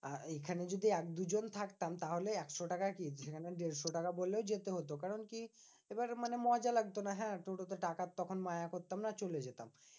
আহ এইখানে যদি এক দুজন থাকতাম তাহলে একশো টাকা কি? মানে দেড়শো টাকা বললেও যেতে হতো। কারণ কি? এবার মানে মজা লাগতো না। হ্যাঁ টোটো তে টাকার তখন মায়া করতাম না চলে যেতাম।